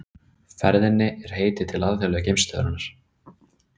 Við spurðum Frey hvort að búið væri að útiloka að Ása fengi tækifæri með meistaraflokknum.